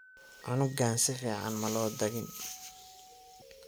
Cunugan sificn malo dhagin.